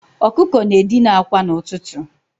Ọkụkọ na-edina akwa n'ụtụtụ.